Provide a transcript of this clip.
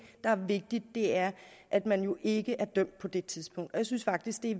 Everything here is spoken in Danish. der er vigtigt er at man jo ikke er dømt på det tidspunkt og jeg synes faktisk det